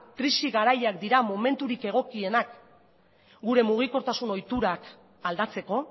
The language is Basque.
krisi garaiak dira momenturik egokienak gure mugikortasun ohiturak aldatzeko